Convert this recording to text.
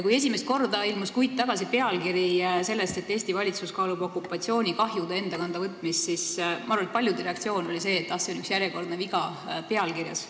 Kui esimest korda ilmus kuid tagasi pealkiri, et Eesti valitsus kaalub okupatsioonikahjude enda kanda võtmist, siis ma arvan, et paljude reaktsioon oli see, et ah, see on üks järjekordne viga pealkirjas.